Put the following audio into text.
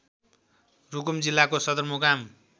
रुकुम जिल्लाको सदरमुकाम